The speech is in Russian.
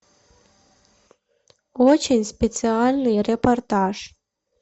очень специальный репортаж